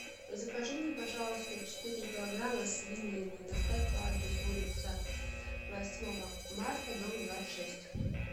закажи мне пожалуйста четыре килограмма свинины доставь по адресу улица восьмого марта дом двадцать шесть